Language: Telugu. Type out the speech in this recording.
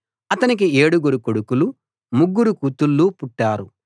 అతనికి ఏడుగురు కొడుకులు ముగ్గురు కూతుళ్ళు పుట్టారు